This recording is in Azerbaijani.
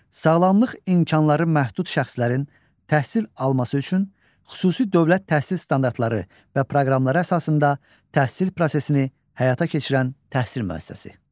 Sağlamlıq imkanları məhdud şəxslərin təhsil alması üçün xüsusi dövlət təhsil standartları və proqramları əsasında təhsil prosesini həyata keçirən təhsil müəssisəsi.